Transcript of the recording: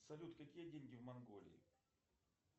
салют какие деньги в монголии